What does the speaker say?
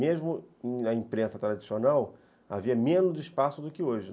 Mesmo na imprensa tradicional, havia menos espaço do que hoje.